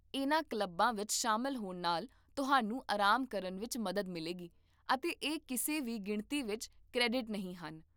ਇਹਨਾਂ ਕਲੱਬਾਂ ਵਿੱਚ ਸ਼ਾਮਲ ਹੋਣ ਨਾਲ ਤੁਹਾਨੂੰ ਆਰਾਮ ਕਰਨ ਵਿੱਚ ਮਦਦ ਮਿਲੇਗੀ, ਅਤੇ ਇਹ ਕਿਸੇ ਵੀ ਗਿਣਤੀ ਵਿੱਚ ਕ੍ਰੈਡਿਟ ਨਹੀਂ ਹਨ